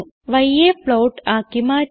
yയെ float ആക്കി മാറ്റാം